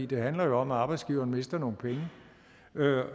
det handler jo om at arbejdsgiveren mister nogle penge